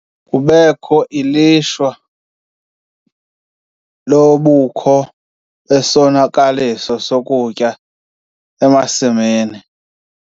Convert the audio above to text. Kubekho ilishwa lobukho besonakaliso sokutya emasimini.